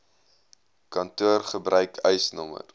kantoor gebruik eisnr